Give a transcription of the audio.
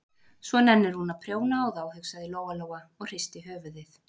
Svo nennir hún að prjóna á þá, hugsaði Lóa-Lóa og hristi höfuðið.